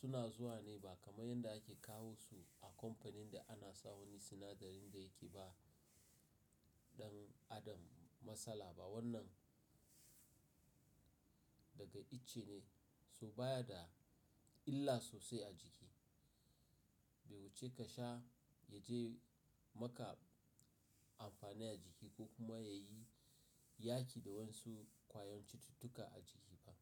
suna zuwa ne ba kamar yadda ake kawo su a kamfanin da ana sa wani sinadarin da yake ba ɗan adam matsala ba. Wannan daga itche ne, so baya da illa sosai a jiki. Bai wuce ka sha ya je maka amfani a jiki ko kuma ya yi yaƙi da wasu ƙwayoyin cututtuka a jiki ba.